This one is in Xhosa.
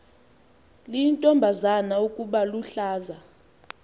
liyintombazana ukuba luhlaza